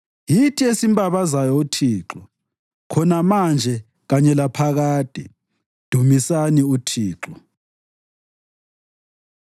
yithi esimbabazayo uThixo, khona manje kanye laphakade. Dumisani uThixo.